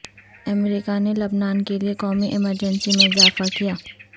امریکہ نے لبنان کےلئے قومی ایمرجنسی میں اضافہ کیا